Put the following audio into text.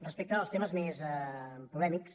respecte als temes més polèmics